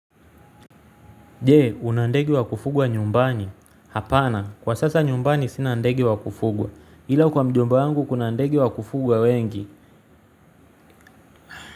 Jee, una ndege wa kufugwa nyumbani. Hapana, kwa sasa nyumbani sinandegi wa kufugwa. Hila kwa mjomba wangu kuna ndege wa kufugwa wengi.